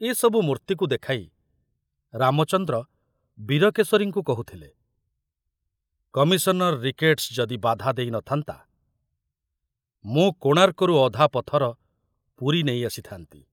ଏ ସବୁ ମୂର୍ତ୍ତିକୁ ଦେଖାଇ ରାମଚନ୍ଦ୍ର ବୀରକେଶରୀଙ୍କୁ କହୁଥିଲେ, କମିଶନର ରିକେଟ୍‌ସ୍‌ ଯଦି ବାଧା ଦେଇ ନ ଥାନ୍ତା, ମୁଁ କୋଣାର୍କରୁ ଅଧା ପଥର ପୁରୀ ନେଇ ଆସିଥାନ୍ତି!